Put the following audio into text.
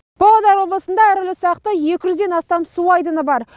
павлодар облысында ірілі ұсақты екі жүзден астам су айдыны бар